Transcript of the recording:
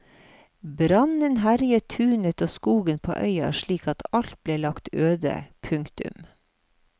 Brannen herjet tunet og skogen på øya slik at alt ble lagt øde. punktum